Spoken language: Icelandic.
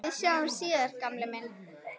Við sjáumst síðar gamli minn.